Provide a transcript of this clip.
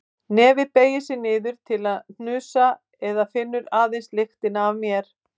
Nefið beygir sig niður til að hnusa en finnur aðeins lyktina af mér.